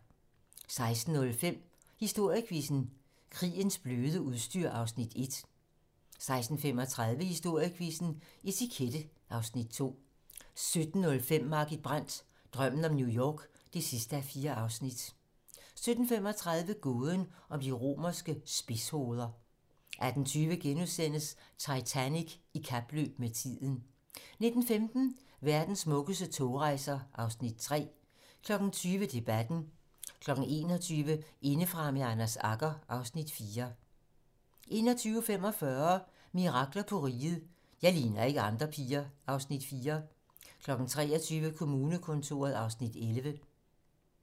16:05: Historiequizzen: Krigens bløde udstyr (Afs. 1) 16:35: Historiequizzen: Etikette (Afs. 2) 17:05: Margit Brandt - Drømmen om New York (4:4) 17:35: Gåden om de romerske spidshoveder 18:20: Titanic i kapløb med tiden * 19:15: Verdens smukkeste togrejser (Afs. 3) 20:00: Debatten 21:00: Indefra med Anders Agger (Afs. 4) 21:45: Mirakler på Riget - Jeg ligner ikke andre piger (Afs. 4) 23:00: Kommunekontoret (Afs. 11)